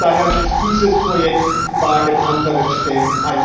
Daher muss dieses Projekt über allem anderen stehen.